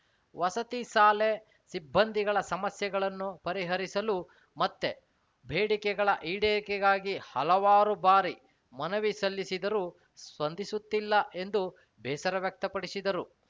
ವಸತಿ ಸಾಲೆ ಸಿಬ್ಬಂದಿಗಳ ಸಮಸ್ಯೆಗಳನ್ನು ಪರಿಹರಿಸಲು ಮತ್ತೆ ಬೇಡಿಕೆಗಳ ಈಡೇರಿಕೆಗಾಗಿ ಹಲವಾರು ಬಾರಿ ಮನವಿ ಸಲ್ಲಿಸಿದರೂ ಸ್ಪಂದಿಸುತ್ತಿಲ್ಲ ಎಂದು ಬೇಸರ ವ್ಯಕ್ತಪಡಿಸಿದರು